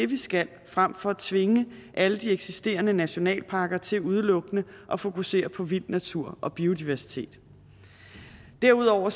vi skal frem for at tvinge alle de eksisterende nationalparker til udelukkende at fokusere på vild natur og biodiversitet derudover